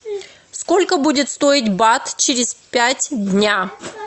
сколько будет стоить бат через пять дня